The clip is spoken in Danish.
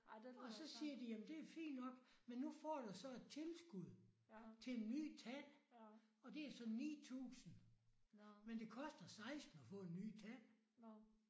Og så siger de jamen det fint nok men nu får du så et tilskud til en ny tand og det er så 9000 men det koster 16 og få en ny tand